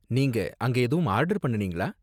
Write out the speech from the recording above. நீங்க அங்க எதுவும் ஆர்டர் பண்ணுனீங்களா?